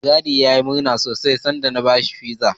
Mai gadin yayi murna sosai sanda na bashi Pizza.